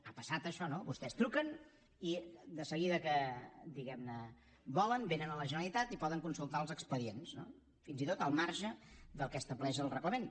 ha passat això no vostès truquen i de seguida que volen vénen a la generalitat i poden consultar els expedients fins i tot al marge del que estableix el reglament